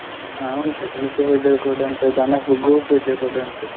ಹ ಉಂಟು, ತುಳಸಿ ಪೂಜೆವು ಕೂಡ ಉಂಟು ದನಗ್ ಗೋಪೂಜೆ ಕೂಡ ಉಂಟು.